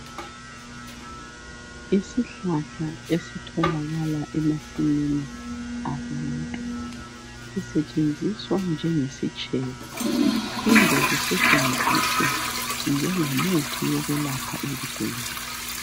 Isihlahla esitholakala emasimini abantu sisetshenziswa njengesitshebo siphinde sisetshenziswe njengomuthi wokwelapha izigulane.